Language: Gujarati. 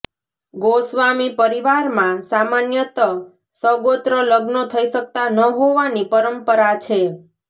ગોસ્વામી પરિવારમાં સામાન્યત સગોત્ર લગ્નો થઇ શકતા ન હોવાની પરંપરા છે